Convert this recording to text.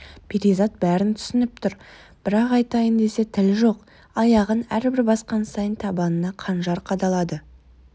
перизат бәрін түсініп тұр бірақ айтайын десе тіл жоқ аяғын әрбір басқан сайын табанына қанжар қадалады